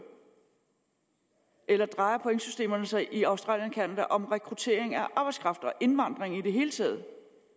eller drejer pointsystemerne sig i australien og canada om rekruttering af arbejdskraft og indvandring i det hele taget